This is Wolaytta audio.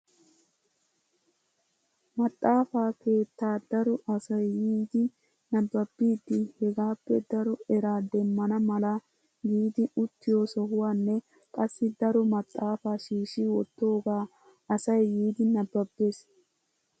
Maxaafa keettaa daro asay yiidi nababidi hegaappe daro eraa demmana mala giidi uttiyo sohuwaanne qassi daro maxaafaa shiishi wottooga asay yiidi nababees!